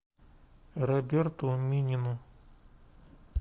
роберту минину